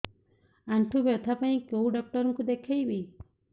ଆଣ୍ଠୁ ବ୍ୟଥା ପାଇଁ କୋଉ ଡକ୍ଟର ଙ୍କୁ ଦେଖେଇବି